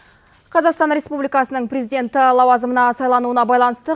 қазақстан республикасының президенті лауазымына сайлануына байланысты